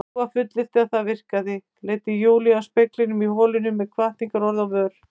Dúa fullyrti að það virkaði, leiddi Júlíu að speglinum í holinu með hvatningarorð á vör.